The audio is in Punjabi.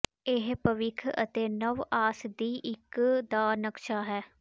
ਇਹ ਭਵਿੱਖ ਅਤੇ ਨਵ ਆਸ ਦੀ ਇੱਕ ਦਾ ਨਕਸ਼ਾ ਹੈ